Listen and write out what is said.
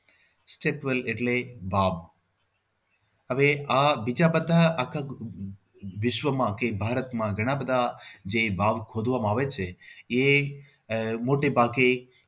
Step wel એટલે વાવ હવે આ બીજા બધા આહ વિશ્વમાં કે ભારતમાં ઘણા બધા જે વાવ ખોદવામાં આવે છે એ આહ મોટે ભાગે